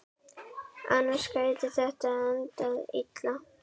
Annars gæti þetta endað illa.